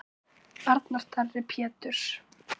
Arnar Darri Péturs.